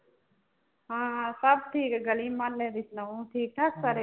ਹਾਂ ਹਾਂ ਸਭ ਠੀਕ, ਗਲੀ ਮੁਹੱਲੇ ਦੀ ਸੁਣਾਓ ਠੀਕ ਠਾਕ ਸਾਰੇ?